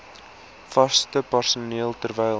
vaste personeel terwyl